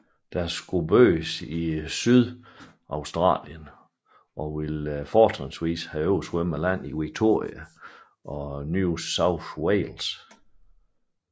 Det skulle bygges i South Australia og ville fortrinsvis have oversvømmet land i Victoria og New South Wales